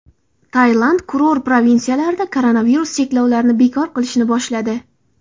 Tailand kurort provinsiyalarida koronavirus cheklovlarini bekor qilishni boshladi.